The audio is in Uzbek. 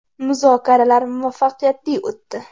Muzokaralar muvaffaqiyatli o‘tdi.